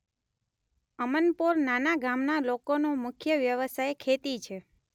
અમનપોર નાના ગામના લોકોનો મુખ્ય વ્યવસાય ખેતી છે.